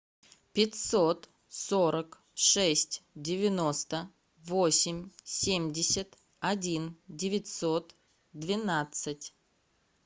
пятьсот сорок шесть девяносто восемь семьдесят один девятьсот двенадцать